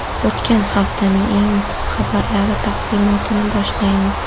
O‘tgan haftaning eng muhim xabarlari taqdimotini boshlaymiz.